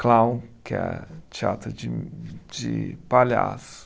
Clown, que é teatro de de palhaço.